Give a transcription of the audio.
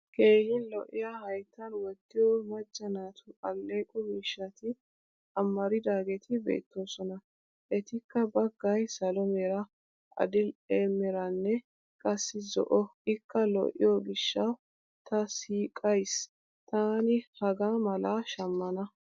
Keehin lo'iya hayttan wottiyo macca naatu alleeqo miishshati amaridaageeti beetoosona. Etikka baggay salo mera, adil'e meranne qassi zo'o ikka lo'iyo gishshawu ta siiqayssi taani hagaa malaa shammana.